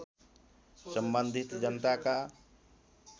सम्बन्धित जनताका